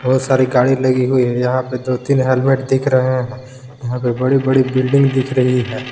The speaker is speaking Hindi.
बहुत सारी गाड़ी लगी हुई है यहां पे दो तीन हेलमेट दिख रहे हैं यहां पे बड़ी बड़ी बिल्डिंग दिख रही है।